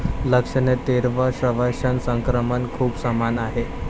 लक्षणे तीव्र श्वसन संक्रमण खूप समान आहे.